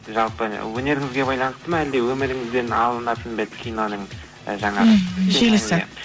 жалпы өнеріңізге байланысты ма әлде өміріңізден алынатын ба еді киноның ы жаңағы мхм желісі